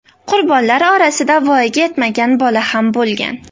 Qurbonlar orasida voyaga yetmagan bola ham bo‘lgan.